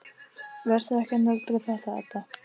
Vertu ekki að nöldra þetta, Edda.